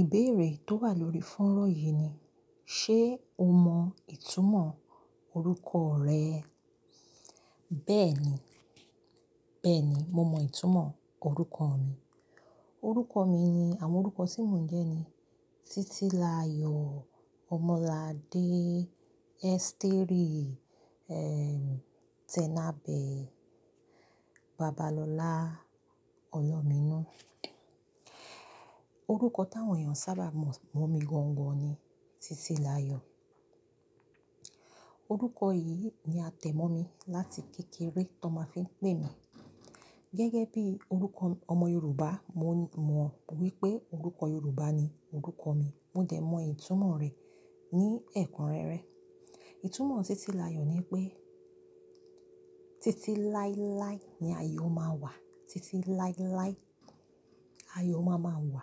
Ìbéèrè tó wà lórí fónró yìí ni, ṣe o mọ ìtumọ̀ orúkọ rẹ? Bẹ́ẹ̀ ni, bẹ́ẹ̀ ni. Mo mọ ìtumọ̀ orúkọ mi. Orúkọ mi ni, àwọn orúkọ tí mò ń jẹ́ ni: Títílayò, Omoladé, Éstérì, ẹ́, Tenabe, Babalolá, Ọlọ́minú. Orúkọ táwọn èèyàn sábà mọ̀ mí gan gan ni Títílayò. Orúkọ yìí ni a tẹ̀ mọ́ mi láti kékeré tón máa ń fi ń pè mí. Gẹ́gẹ́ bí orúkọ ọmọ Yorùbá, mo mọ̀ wípé orúkọ Yorùbá ni orúkọ mi. Mo dẹ̀ mọ ìtumọ̀ rẹ̀ ní ẹ̀kúnrẹ́rẹ́. Ìtumọ̀ Titilayo ni pé, titi láíláí ni ayọ̀ máa wà, titi láíláí ayọ̀ máa máa wà.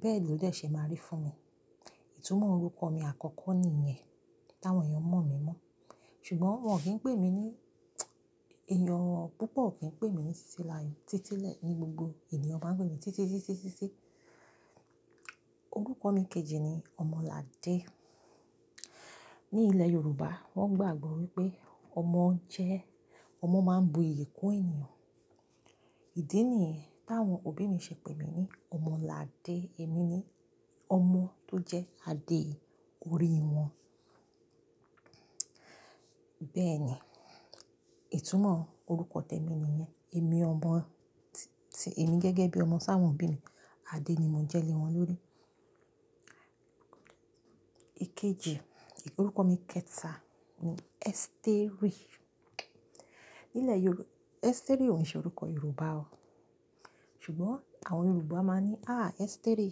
Bẹ́ẹ̀ ló dẹ̀ ṣe máa rí fún mi. Ìtumọ̀ orúkọ mi àkọ́kọ́ ni iyẹn, táwọn èèyàn mọ̀ mí mọ́. Ṣùgbọ́n wọ́n kì í pè mí ní, èèyàn púpọ̀ kì í pè mí ní Titilayo. Títí lẹ́ ni gbogbo ènìyàn máa ń pè mí, Títí, Títí, Títí. Orúkọ mi kejì ni Omolade. Ní ilẹ̀ Yorùbá, wọ́n gbàgbọ́ wípé ọmọ jẹ́, ọmọ máa ń bu iyì kún ènìyàn. Ìdí nìyẹn táwọn òbí mi ṣe pè mí ní Omoladé. Èmi ni ọmọ tó jẹ́ adé orí wọn. Bẹ́ẹ̀ ni, ìtumọ̀ orúkọ tèmi ni iyẹn. Èmi ò mọ ti, ti èmi gẹ́gẹ́ bí ọmọ sáwọn òbí mi, adé ni mò ń jẹ́ lé wọn lórí. Ikeji, orúkọ mi kẹta ni Éstérì. Ní ilẹ̀ Yorù-- Éstérì ò ń ṣe orúkọ Yorùbá o. Ṣùgbọ́n àwọn Yorùbá máa ní, "à, Éstérì,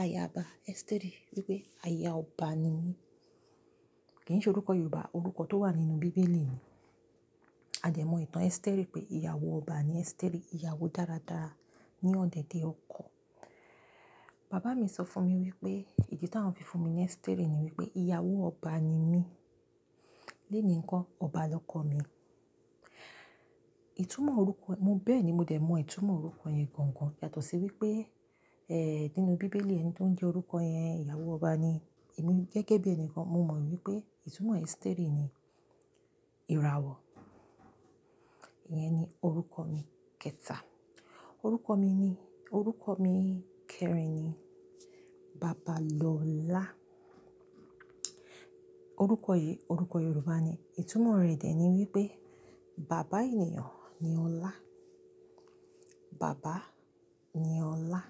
aya ọba, Éstérì." Wípé aya ọba ni mí. Kì í ṣe orúkọ Yorùbá, orúkọ tó wà nínú bíbélì ni. A dẹ̀ mọ ìtàn Éstérì pé ìyàwó ọba ni Éstérì, ìyàwó dáradára ní ọ̀dẹ̀dẹ̀ ọkọ. Bàbá mi sọ fún mi wípé, ìdí táwọn fi fún mi ní Éstérì ni wípé ìyàwó ọba ni mí. Léèní ńkọ́, ọba lọkọ mi. Ìtumọ̀ orúkọ, mo bẹ́ẹ̀ ni, mo dẹ̀ mọ ìtumọ̀ orúkọ yẹn gan gan. Yàtọ̀ sí wípé, ẹ́, nínú bíbélì ẹni tó ń jẹ́ orúkọ yẹn, ìyàwó ọba ni. Èmi gẹ́gẹ́ bí ẹni kan, mo mọ̀ wípé ìtumọ̀ Éstérì ni ìràwọ̀. Iyẹn ni orúkọ mi kẹta. Orúkọ mi ni, orúkọ mi kẹrin ni Babalola. Orúkọ yìí orúkọ Yorùbá ni. Ìtumọ̀ rẹ̀ dẹ̀ ni wípé bàbá ènìyàn ni ọlá. Bàbá ni ọlá.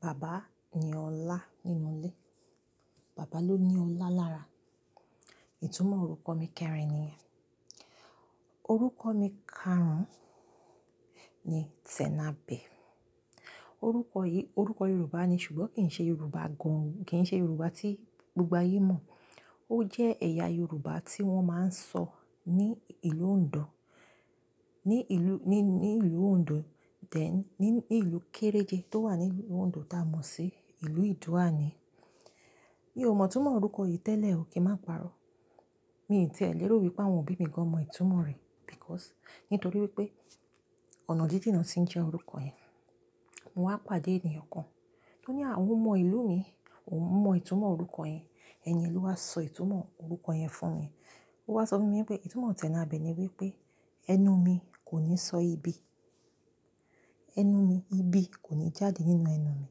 Bàbá ni ọlá nínú ilé. Bàbá ló ní ọlá lára. Ìtumọ̀ orúkọ mi kẹrin nìyẹn. Orúkọ mi karùn-ún ni Tẹ̀nabè. Orúkọ yìí orúkọ Yorùbá ni, ṣùgbọ́n kì í ṣe Yorùbá gan-an, kì í ṣe Yorùbá tí gbogbo ayé mọ̀. Ó jẹ́ ẹ̀yà Yorùbá tí wọ́n máa ń sọ ní ìlú Ondo. Ní ìlú, ní, ní ìlú Ondo. Then ní, ní ìlú kééréje tó wà ní ìlú Ondo tá a mọ̀ sí ìlú Ìdó-àní. Mi ò mọ ìtumọ̀ orúkọ yìí tẹ́lẹ̀ o, kí n má parọ́. Mi ì ti ẹ̀ lérò wípé àwọn òbí mi gan mọ ìtumọ̀ rẹ̀ because nítorí wípé ọ̀nà jíjìn ni wón ti ń jẹ́ orúkọ yẹn. Mo wá pàdé ènìyàn kan tó ní "à, ó ń mọ ìlú mi, òun mọ ìtumọ̀ orúkọ yẹn. Ẹni yẹn ló wá sọ ìtumọ̀ orúkọ yẹn fún mi." Ó wá sọ fún mi wípé ìtumọ̀ Tenabe ni wípé ẹnu mi kò ní sọ ibi. Ẹnu mi, ibi kò ní jáde nínú ẹnu mi.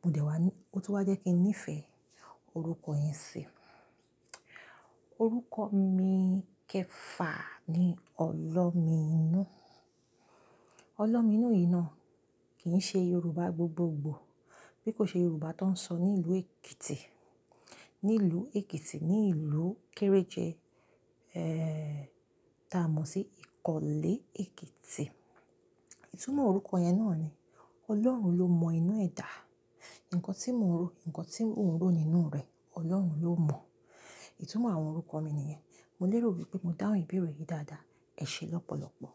Mo dẹ̀ wá ní, ó tún wá jẹ́ kí n nífẹ̀ẹ́ orúkọ yẹn síi. Orúkọ mi kẹfà ni Ọlọmiinú. Olómiinú yìí náà kì í ṣe Yorùbá gbogbogbò. Bí kò ṣe Yorùbá tó ń sọ ní ìlú Èkìtì. Ní ìlú Èkìtì, ní ìlú kééréje, ẹ́, tá a mọ̀ sí Ìkọ̀lé Èkìtì. Ìtumọ̀ orúkọ yẹn náà ni Ọlọ́run ló mọ inú ẹ dà. Nǹkan tí mo ń ro, nǹkan tí ò ń ro nínú rẹ, Ọlọ́run ló mọ̀. Ìtumọ̀ àwọn orúkọ mi ni iyẹn. Mo lérò wípé mo dáhùn ìbéèrè yìí dáadáa. Ẹ ṣe lọ́pọ̀lọ́pọ̀.